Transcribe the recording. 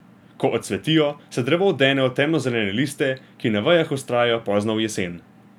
Ko odcvetijo, se drevo odene v temnozelene liste, ki na vejah vztrajajo pozno v jesen.